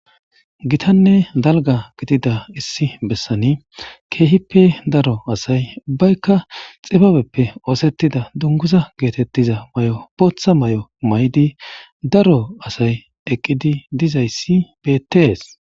Iitanne dalga gidida issi bessani keehippe daro asay ubbaykka xibabeppe oosettida dunguza geetettiza may7o bootha may7o may7di daro asay eqqidi dizayssi beettees